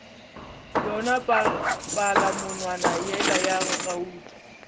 yona palamonwana yela ya gauta